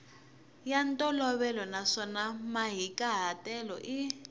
ya ntolovelo naswona mahikahatelo i